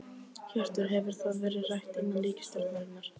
Hjörtur: Hefur það verið rætt innan ríkisstjórnarinnar?